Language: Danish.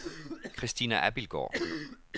Christina Abildgaard